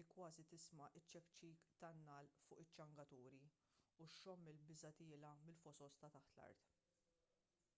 li kważi tisma' ċ-ċekċik tan-nagħal fuq iċ-ċangaturi u xxomm il-biża' tiela' mill-fosos ta' taħt l-art